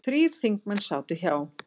Þrír þingmenn sátu hjá